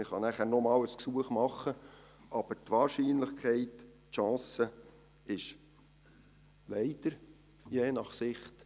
Man kann nachher noch einmal ein Gesuch stellen, aber die Wahrscheinlichkeit, die Chance ist sehr klein – leider, je nach Sicht.